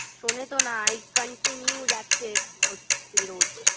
শোনে তো না এই continue যাচ্ছে সাউথ সিটি রোজ